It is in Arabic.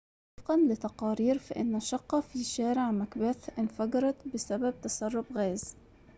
ووفقًا لتقارير فإنّ شقّة في شارع مكبيث انفجرت بسبب تسرّب غاز